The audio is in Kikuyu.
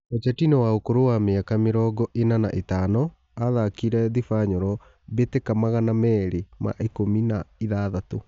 Bocetino wa ũkũrũ wa mĩ aka mĩ rongo ĩ na na ĩ tano athakĩ ire Thibanyoro mbĩ tĩ ka magana merĩ ma ikũmi na ithathatũ.